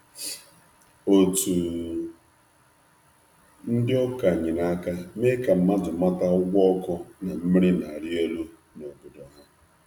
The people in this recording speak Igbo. Otu ụka nyere aka mee ka ndị mmadụ ka ndị mmadụ mara banyere ọnụ ahịa ọkụ na mmiri na-arị elu n’ógbè.